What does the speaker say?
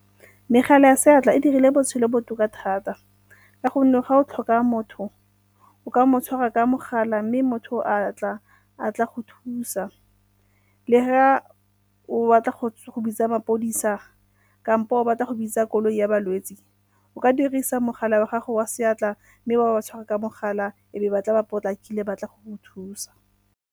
Megala ya seatla e dirile botshelo botoka thata ka gonne ga o tlhoka motho o ka mo tshwara ka mogala mme motho a tla a tla go thusa. Le ga o batla go bitsa mapodisa kampo o batla go bitsa koloi ya balwetse o ka dirisa mogala wa gago wa seatla mme wa ba tshwara ka mogala e be ba tla ba potlakile ba tla go go thusa.